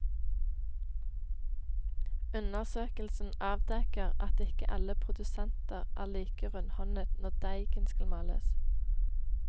Undersøkelsen avdekker at ikke alle produsenter er like rundhåndet når deigen skal males.